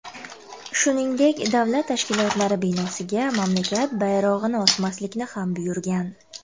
Shuningdek, davlat tashkilotlari binosiga mamlakat bayrog‘ini osmaslikni ham buyurgan.